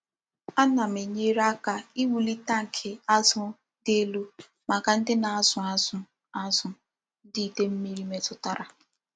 A na m enyere aka iwuli tankị azụ dị elu maka ndị na-azụ azụ azụ ndị idei mmiri metụtara.